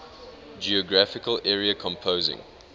geographical area composing